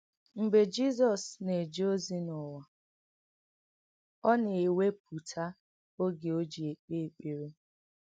M̀gbè Jìzọ̀s nà-èjè òzì n’ùwà, ọ nà-èwèpùtà ògè ó jì èkpè èkpèrè.